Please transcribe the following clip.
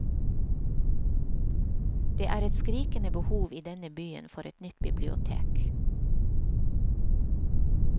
Det er et skrikende behov i denne byen for et nytt bibliotek.